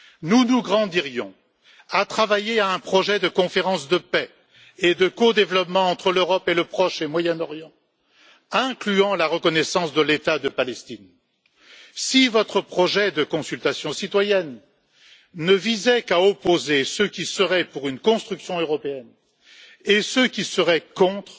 Nous nous grandirions à travailler à un projet de conférence de paix et de codéveloppement entre l'Europe et le Proche et Moyen Orient, incluant la reconnaissance de l'État de Palestine. Si votre projet de consultation citoyenne ne visait qu'à opposer ceux qui seraient pour une construction européenne et ceux qui seraient contre,